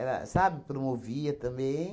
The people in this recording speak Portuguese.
sabe, promovia também.